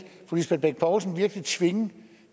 fru lisbeth bech poulsen virkelig tvinge